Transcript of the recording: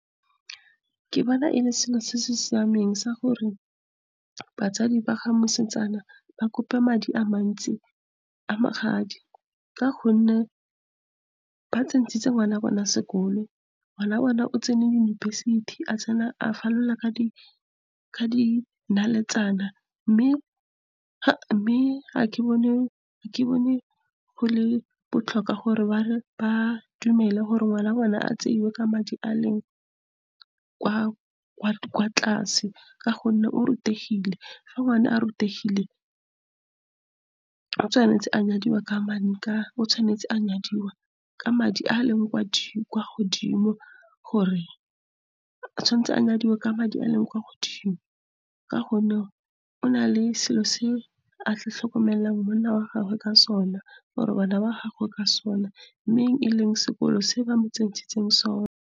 Ke bona e le selo se se siameng sa gore batsadi ba ga mosetsana ba kope madi a mantsi a magadi ka gonne ba tsentshitse ngwana bona sekolo. Ngwana bona o tsene yunibesithi, a falola ka dinaletsana, mme ga ke bone go le botlhokwa gore ba dumele gore ngwana wa bona a tseiwe ka madi a leng kwa tlase. Ka gonne o rutegile, fa ngwana a rutegile, o tshwanetse a nyadiwa ka madi a a leng kwa godimo, ka gonne o na le selo se a tla tlhokomelang monna wa gagwe ka sona le bana ba gagwe ka sona, mme e leng sekolo se ba mo tsentshitseng sona.